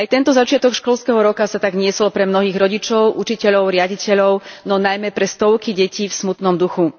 Aj tento začiatok školského roka sa tak niesol pre mnohých rodičov, učiteľov, riaditeľov no najmä pre stovky detí v smutnom duchu.